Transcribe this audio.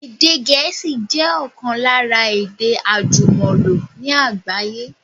Èdè Gẹ̀ẹ́sì jẹ ọ̀kan lára èdè àjùmọ̀lò ní àgbáyé